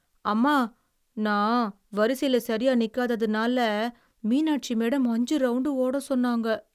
அம்மா, நான் வரிசையில சரியா நிக்காததுனால மீணாட்சி மேடம் அஞ்சு ரவுண்டு ஓட சொன்னாங்க.